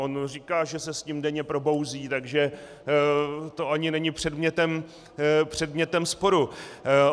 On říká, že se s tím denně probouzí, takže to ani není předmětem sporu.